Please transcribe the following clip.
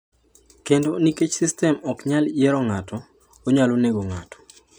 ‘Kendo nikech sistem ok nyal yiero ng’ato, onyalo nego ng’ato.